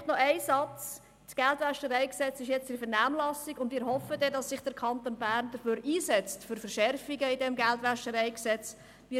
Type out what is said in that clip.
Noch ein Satz: Das GwG ist jetzt in der Vernehmlassung, und wir hoffen, dass sich der Kanton Bern dann für Verschärfungen in diesem Gesetz einsetzen wird.